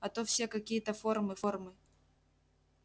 а то все какие-то формы формы